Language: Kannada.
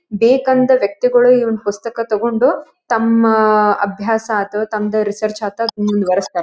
ಬೇಕಂದ ವ್ಯಕ್ತಿಗಳು ಈ ಒಂದು ಪುಸ್ತಕ ತಗೊಂಡು ತಮ್ಮ ಅಭ್ಯಾಸ ಅಥವಾ ತಮ್ಮದು ರಿಸರ್ಚ್ ಮುಂದುವರಿಸುತ್ತಾರೆ.